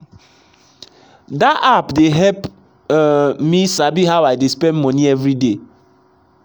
that app dey help um me sabi how i dey spend money every day